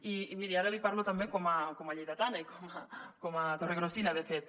i miri ara li parlo també com a lleidatana i com a torregrossina de fet